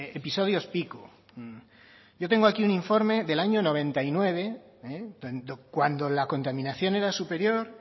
episodios pico yo tengo aquí un informe del año noventa y nueve cuando la contaminación era superior